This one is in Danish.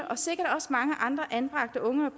og sikkert også mange andre anbragte unge